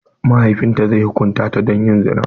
Mahaifin ta zai hukunta ta don yin zina.